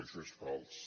això és fals